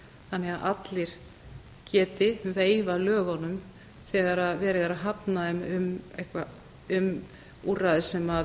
þannig að allir geti veifað lögunum þegar verið er að hafna þeim um úrræði sem